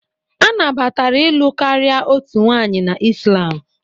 A nabatara ịlụ karịa otu nwanyị na Islam